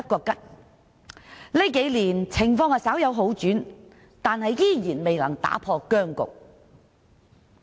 近年情況稍有好轉，卻依然未能打破僵局。